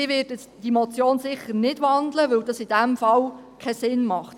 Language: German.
Ich werde diese Motion sicher nicht wandeln, weil es in diesem Fall keinen Sinn macht.